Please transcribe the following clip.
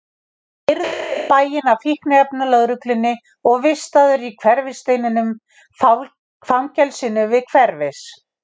Ég var keyrður í bæinn af fíkniefnalögreglunni og vistaður í Hverfisteininum, fangelsinu við Hverfis